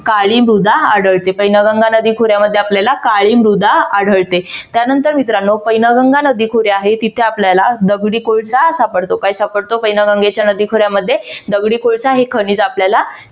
काळी मृदा आढळते. वैनगंगा नदी खोऱ्यामध्ये आपल्याला काळी मृदा आढळते. त्यानंतर मित्रानो पैनगंगा नदी खोरे आहे तिथे आपल्याला दगडी कोळसा सापडतो. काय सापडतो? पैनगंगा नदीच्या खोऱ्यामध्ये दगडी कोळसा हे खनिज आपल्याला